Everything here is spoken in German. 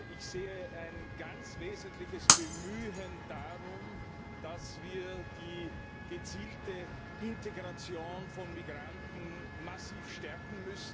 Ich sehe ein ganz wesentliches Bemühen darum, dass wir die gezielte Integration von Migranten massiv stärken.